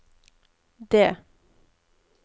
D